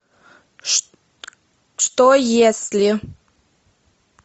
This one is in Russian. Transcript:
что если